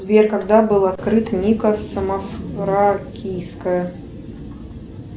сбер когда была открыта ника самофракийская